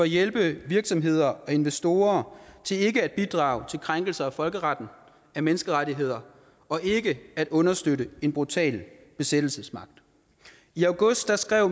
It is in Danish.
hjælpe virksomheder og investorer til ikke at bidrage til krænkelser af folkeretten af menneskerettigheder og ikke at understøtte en brutal besættelsesmagt i august skrev